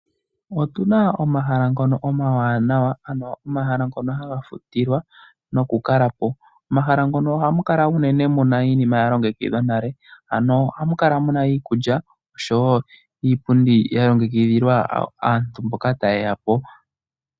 Otuna omahala ngono omawanawa, ano omahala ngono haga futilwa, nokukalapo. Momahala mono ohamu kala muna iinima ya longekidhwa nale. Ohamu kala muna iikulya, oshowo iipundi yalongekidhilwa aantu mboka taye yapo.